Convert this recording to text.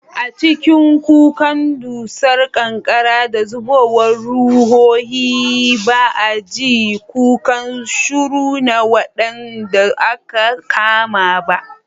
A cikin kukan dusar ƙanƙara da zubowar ruhohi, ba a ji kukan shuru na waɗanda aka kama ba.